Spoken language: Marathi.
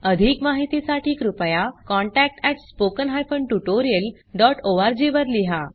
अधिक माहितीसाठी कृपया contact at spoken hyphen tutorial dot O R G वर लिहा